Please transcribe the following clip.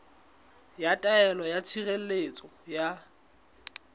ya taelo ya tshireletso ya